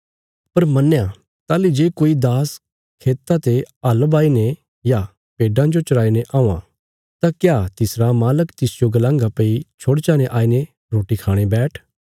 पर मन्नया ताहली जे कोई दास खेता ते हल बाही ने या भेड्डां जो चराई ने औआं तां क्या तिसरा मालक तिसजो गलांगा भई छोड़चा ने आईने रोटी खाणे बैठ